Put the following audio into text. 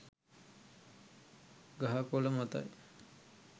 ගහ කොල මතයි